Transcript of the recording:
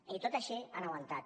i tot i així han aguantat